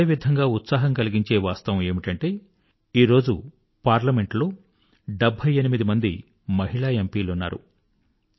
అదేవిధంగా ఉత్సాహం కలిగించే వాస్తవం ఏమిటంటే నేడు పార్లమెంటులో 78 సెవెంటీ ఐఐటీ మహిళా ఎంపీలున్నారు